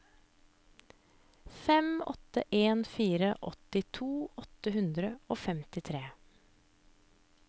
fem åtte en fire åttito åtte hundre og femtitre